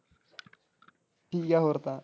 ਠੀਕ ਆ ਹੋਰ ਤਾਂ?